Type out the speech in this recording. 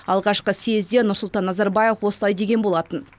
алғашқы съезде нұрсұлтан назарбаев осылай деген болатын